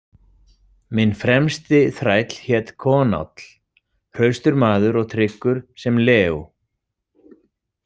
Minn fremsti þræll hét Konáll, hraustur maður og tryggur sem leó.